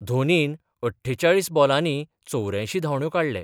धोनीन अठ्ठेचाळीस बोलानी चौऱ्यांयशी धांवड्यो काडले.